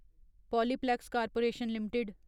Polyplex corporation limited